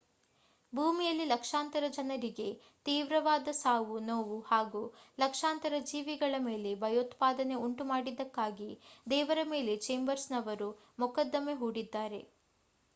ಭೂಮಿಯಲ್ಲಿ ಲಕ್ಷಾಂತರ ಜನರಿಗೆ ತೀವ್ರವಾದ ಸಾವು ನೋವು ಹಾಗೂ ಲಕ್ಷಾಂತರ ಜೀವಿಗಳ ಮೇಲೆ ಭಯೋತ್ಪಾದನೆ ಉಂಟುಮಾಡಿದ್ದಕ್ಕಾಗಿ ದೇವರ ಮೇಲೆ ಚೇಂಬರ್ಸ್ ನವರು ಮೊಕದ್ದಮೆ ಹೂಡಿದ್ದಾರೆ